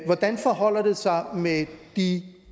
hvordan forholder det sig med de